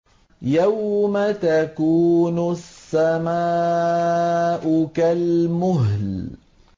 يَوْمَ تَكُونُ السَّمَاءُ كَالْمُهْلِ